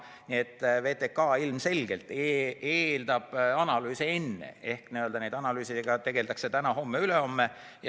Nii et VTK ilmselgelt eeldab analüüse ja nende analüüsidega tegeldakse täna-homme-ülehomme.